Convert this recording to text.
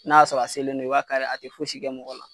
N'a sɔrɔ a selen don i b'a kari a tɛ fosi kɛ mɔgɔ la.